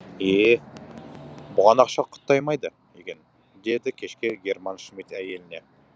е е бұған ақша құтаймайды екен деді кешке герман шмидт әйеліне